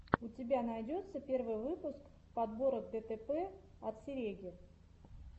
у тебя найдется первый выпуск подборок дэтэпэ от сереги